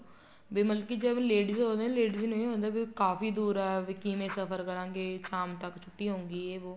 ਮਤਲਬ ਕੀ ਜਦ ladies ਹੋਵੇ ladies ਨੂੰ ਵੀ ਇਹ ਹੋ ਜਾਂਦਾ ਉਹ ਕਾਫ਼ੀ ਦੂਰ ਆਇਆ ਹੈ ਵੀ ਕਿਵੇ ਸਫ਼ਰ ਕਰਾਗੇ ਸ਼ਾਮ ਤੱਕ ਛੁੱਟੀ ਹੋਉਗੀ ਜ਼ੇ ਵੋ